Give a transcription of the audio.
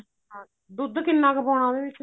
ਹਾਂ ਦੁੱਧ ਕਿੰਨਾ ਕੁ ਪਾਉਣਾ ਉਹਦੇ ਵਿੱਚ